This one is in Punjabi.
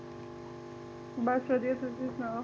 ਬਸ ਵਧੀਆ ਤੁਸੀ ਸੁਣਾਓ